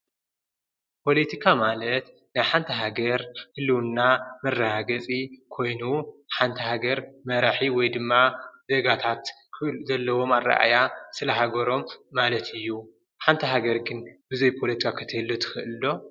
ፖለቲካ ማለት ንሓንቲ ሃገር ህልዉና መረጋገፂ ኮይኑ ሓንቲ ሃገር መራሒ ወይ ድማ ዜጋታት ዘለዎም ኣረኣእያ ስለ ሃገሮም ማለት እዩ። ሓንቲ ሃገር ግን ብዘይ ፖለቲካ ክትህሉ ትክእል ዶ?